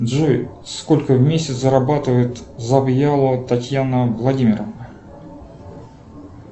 джой сколько в месяц зарабатывает завьялова татьяна владимировна